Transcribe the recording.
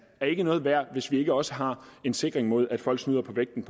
er ikke noget værd hvis vi ikke også har en sikring mod at folk snyder på vægten